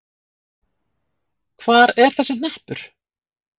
Hvar er þessi hnappur?